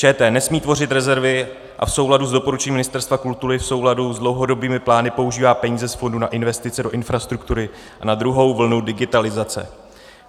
ČT nesmí tvořit rezervy a v souladu s doporučením Ministerstva kultury, v souladu s dlouhodobými plány používá peníze z fondu na investice do infrastruktury a na druhou vlnu digitalizace.